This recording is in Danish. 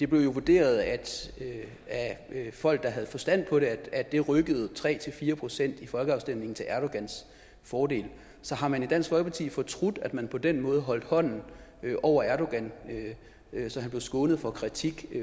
blev vurderet af folk der havde forstand på det at det rykkede tre fire procent i folkeafstemningen til erdogans fordel så har man i dansk folkeparti fortrudt at man på den måde holdt hånden over erdogan så han blev skånet for kritik